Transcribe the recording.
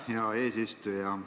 Hea eesistuja!